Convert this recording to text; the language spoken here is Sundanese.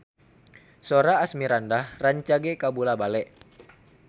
Sora Asmirandah rancage kabula-bale